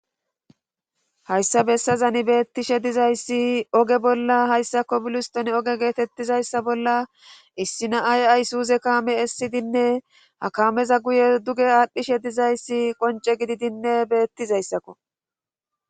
hayssa bessazani beettishe dizayssi oge bolla hayssako biluston oge geetettizayssa bolla issi na ay ay suuze kaame essidinne ha kameza guye duge aadhdhishe dizayssi qonce gididinne beettizayssakko